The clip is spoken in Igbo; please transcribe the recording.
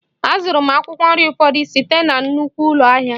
A zụrụ m akwụkwọ nri ụfọdụ site na nnukwu ụlọ ahịa